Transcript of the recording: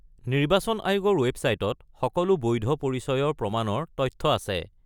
নিৰ্বাচন আয়োগৰ ৱেবছাইটত সকলো বৈধ পৰিচয়ৰ প্ৰমাণৰ তথ্য আছে।